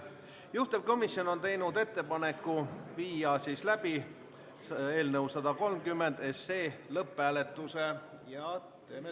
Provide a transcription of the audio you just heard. Juhtivkomisjon on teinud ettepaneku viia läbi eelnõu 130 lõpphääletus.